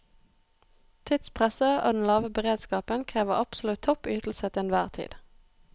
Tidspresset og den lave beredskapen krever absolutt topp ytelse til enhver tid.